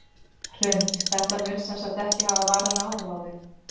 Hrund: Þetta mun sem sagt ekki hafa varanleg áhrif á þau?